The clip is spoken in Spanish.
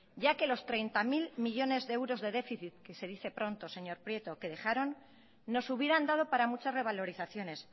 ya que los treinta mil millónes de euros de déficit que se dice pronto señor prieto que dejaron nos hubieran dado para muchas revalorizaciones